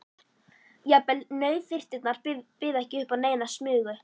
Jafnvel nauðþurftirnar buðu ekki upp á neina smugu.